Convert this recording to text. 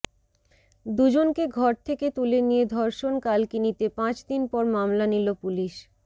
দুজনকে ঘর থেকে তুলে নিয়ে ধর্ষণ কালকিনিতে পাঁচ দিন পর মামলা নিল পুলিশ